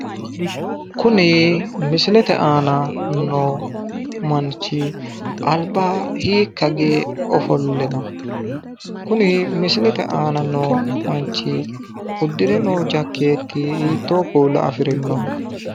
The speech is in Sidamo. Kuni misilete aana noo manchi alba hiikka hige oflle no? Kuni misilete aana noo manchi uddire noo jakkeeti hiittoo kuula afirino?